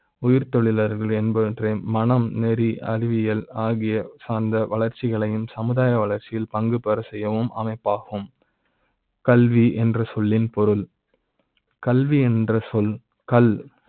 உயிர் தொழிலாளர்கள் என்பவற்றை மனம் நெறி அறிவியல் ஆகிய சார்ந்த வளர்ச்சிகளையும் சமுதாய வளர்ச்சி யில் பங்கு பெற செய்யும் அமைப்பாகும் கல்வி என்ற சொல்லி ன் பொருள் கல்வி என்ற சொல் கல்